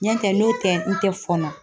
N'o tɛ n'o tɛ n tɛ fɔɔnɔ